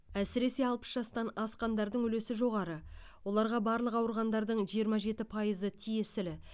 әсіресе алпыс жастан асқандардың үлесі жоғары оларға барлық ауырғандардың жиырма жеті пайызы тиесілі